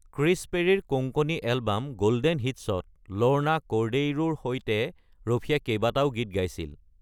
Chris পেৰীৰ Konkani album golden হিটছত Lorna কৰ্ডেইৰোৰ সৈতে ৰফিয়ে কেইবাটাও গীত গাইছিল।